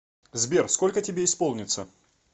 сбер сколько тебе исполнится